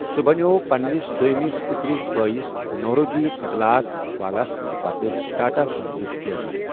سوٗ بنیو پننِس دویمِس پِترِس بٲیِس نوروجی سكلات والا سٕندِ پتہٕ ٹاٹا سنزٗك چیرمین ۔